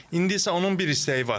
İndi isə onun bir istəyi var.